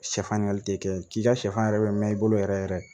Sɛfan ɲininkali tɛ kɛ k'i ka sɛfan yɛrɛ bɛ mɛn i bolo yɛrɛ yɛrɛ